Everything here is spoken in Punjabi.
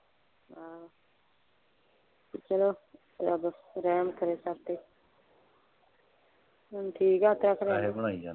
ਅਹ ਚਲੋ ਰੱਬ ਰਹਿਮ ਕਰੇ ਸਭ ਤੇ ਹੁਣ ਠੀਕ ਆ ਹੁਣ ਠੀਕ ਆ ਪੈਸੇ ਬਣਾਈ ਜਾਂਦੇ।